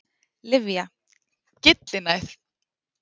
Lyfja- Gyllinæð.